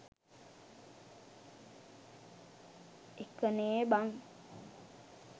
එකනේ බන්